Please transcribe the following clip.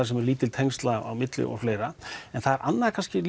sem eru lítil tengsl á milli og fleira en það er annað kannski